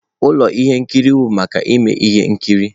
Ụlọ ihe nkiri bụ maka ime ihe nkiri.